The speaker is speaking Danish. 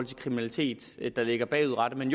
kriminalitet der ligger bagudrettet men